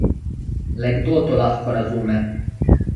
Le kdo to lahko razume?